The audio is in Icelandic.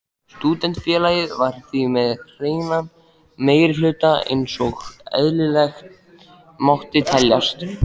Stúdentafélagið var því með hreinan meirihluta einsog eðlilegt mátti teljast.